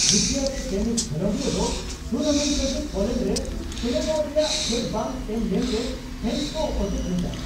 Russia ᱨᱮ tennis ᱠᱷᱮᱞᱳᱰᱤᱭᱟᱹ ᱫᱚ ᱴᱩᱨᱱᱟᱢᱮᱱᱴ ᱞᱟᱹᱜᱤᱫ ᱯᱳᱞᱮᱱᱰ ᱨᱮ ᱥᱮᱞᱮᱫᱚᱜ ᱨᱮᱭᱟᱜ ᱪᱷᱟᱹᱲ ᱵᱟᱝ ᱮᱢ ᱞᱮᱱᱨᱮ ᱯᱷᱮᱱᱥ ᱠᱚ ᱚᱴᱮᱡᱽ ᱞᱮᱫᱟ ᱾